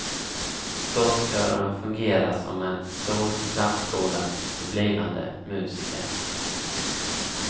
Gosskören fungerar som en stor plantskola för blivande musiker.